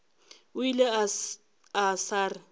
o ile a sa re